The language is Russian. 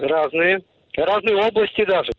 разные разные области даже